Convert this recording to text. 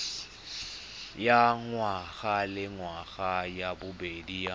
ya ngwagalengwaga ya bobedi ya